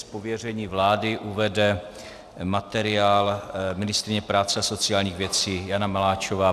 Z pověření vlády uvede materiál ministryně práce a sociálních věcí Jana Maláčová.